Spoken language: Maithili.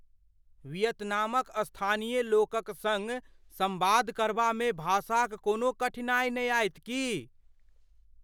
वियतनामक स्थानीय लोकक सङ्ग संवाद करबामे भाषाक कोनो कठिनाइ आयत की ?